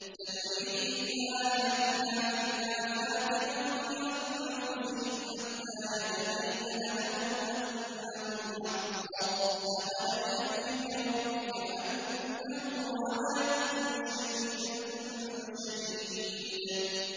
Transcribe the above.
سَنُرِيهِمْ آيَاتِنَا فِي الْآفَاقِ وَفِي أَنفُسِهِمْ حَتَّىٰ يَتَبَيَّنَ لَهُمْ أَنَّهُ الْحَقُّ ۗ أَوَلَمْ يَكْفِ بِرَبِّكَ أَنَّهُ عَلَىٰ كُلِّ شَيْءٍ شَهِيدٌ